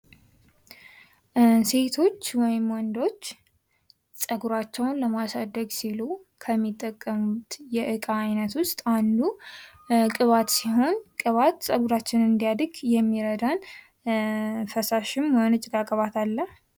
ሴቶች ወይም ውንዶች ጸጉራቸውን ለማሳደግ ሲሉ የሚጠቀሙት የእቃ አይነት ዉስጥ አንዱ ቅባት ሲሆን ቅባት ጸጉራችን እንዲያድግ የሚረዳ ፈሳሽም ቅባት አለ።